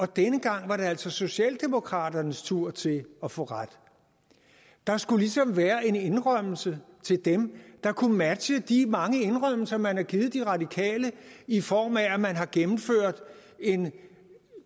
denne gang var det altså socialdemokraternes tur til at få ret der skulle ligesom være en indrømmelse til dem der kunne matche de mange indrømmelser man har givet de radikale i form af at man har gennemført en